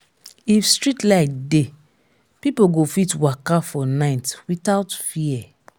if streetlight dey people go fit waka for night without fear.